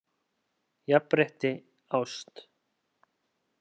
Jafnrétti ást?